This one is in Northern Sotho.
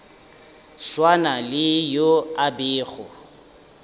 swana le yo a bego